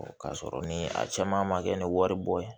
K'a sɔrɔ ni a caman ma kɛ ni wari bɔ ye